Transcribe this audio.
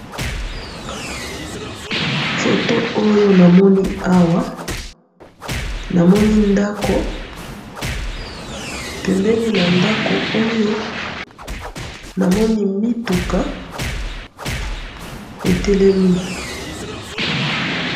photo oyo namoni awa namoni ndaku pembeni na ndaku oyo namoni mituka etelemi